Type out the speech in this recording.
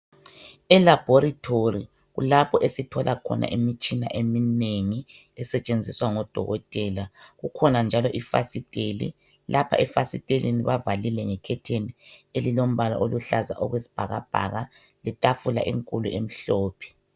E laboratory kulapho esithola khona imitshina eminegi esetshenziswa ngodokotela kukhona njalo ifasitela lapho efasiteleni bavalile nge curtain elilombala oluhlaza okwesibhakabhaka letafula enkulu emhlophe.